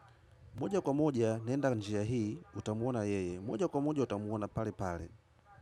Moja kwa moja, naenda njia hii, utamuona yeye. Moja kwa moja, utamuona pale pale.